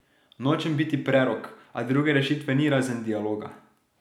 Nočem biti prerok, a druge rešitve ni razen dialoga.